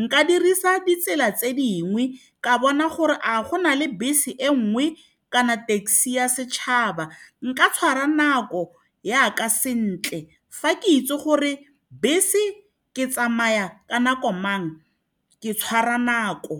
Nka dirisa ditsela tse dingwe ka bona gore a go na le bese e nngwe kana taxi ya setšhaba. Nka tshwara nako yaka sentle fa ke itse gore bese e tsamaya ka nako mang ke tshwara nako.